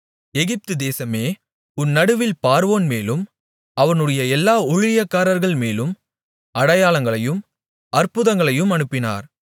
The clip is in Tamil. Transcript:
எகிப்துதேசமே உன் நடுவில் பார்வோன்மேலும் அவனுடைய எல்லா ஊழியக்காரர்கள் மேலும் அடையாளங்களையும் அற்புதங்களையும் அனுப்பினார்